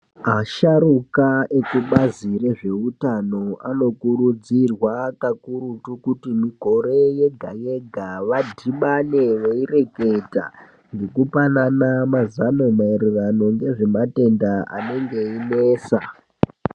Asharuka ekubazi rezveutano anokurudzirwa kakurutu kuti mikore yega-yega. Vadhibane veireketa ngekupanana mazano maererano ngezvematenda anenge einesa.